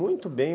Muito bem.